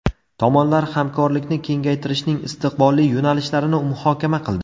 Tomonlar hamkorlikni kengaytirishning istiqbolli yo‘nalishlarini muhokama qildi.